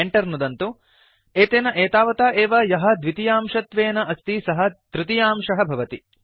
Enter नुदन्तु एतेन एतावता एव यः द्वितीयांशत्वेन अस्ति सः तृतीयांशः भवति